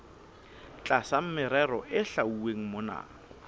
tlasa merero e hlwauweng mona